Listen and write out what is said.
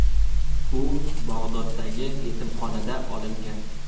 U Bag‘doddagi yetimxonada olingan.